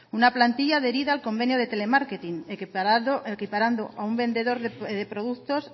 una plantilla adherida al convenio de telemarketing equiparando a un vendedor de productos